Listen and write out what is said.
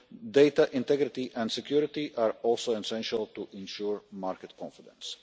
Data integrity and security are also essential to ensure market confidence.